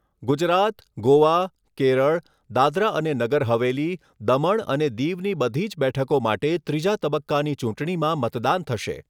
ગુજરાત, ગોવા, કેરળ, દાદરા અને નગર હવેલી, દમણ અને દીવની બધી જ બેઠકો માટે ત્રીજા તબક્કાની ચૂંટણીમાં મતદાન થશે.